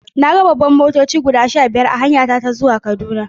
Na ga babbar motoci guda sha biyar a hanyata ta zuwa Kaduna.